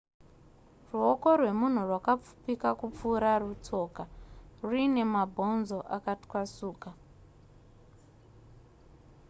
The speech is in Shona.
ruoko rwemunhu rwakapfupika kupfuura rutsoka ruine mabhonzo akatwasuka